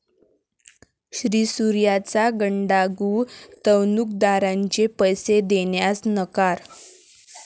श्रीसूर्या'चा गंडा, गुंतवणूकदारांचे पैसे देण्यास नकार